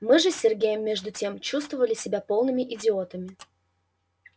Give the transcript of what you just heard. мы же с сергеем между тем чувствовали себя полными идиотами